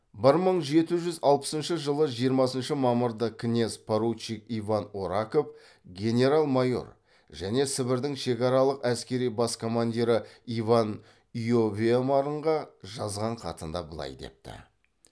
бір мың жеті жүз алпысыншы жылы жиырмасыншы мамырда князь поручик иван ораков генерал майор және сібірдің шекаралық әскери бас командирі иван иовемарнға жазған хатында былай депті